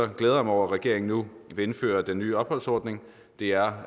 glæder mig over at regeringen nu vil indføre den nye opholdsordning det er